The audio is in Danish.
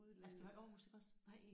Altså det var i Aarhus iggås?